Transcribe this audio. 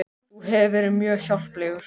Þú hefur verið mér mjög hjálplegur